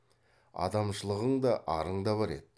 адамшылығың да арың да бар еді